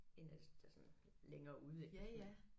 En af de der sådan længere ude ik men